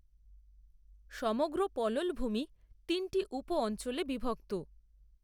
সমগ্র পললভূমি তিনটি উপ অঞ্চলে বিভক্ত।